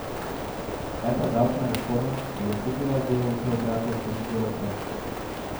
Kaj pa davčna reforma, bi lahko bila del preobrata v korist delavcev?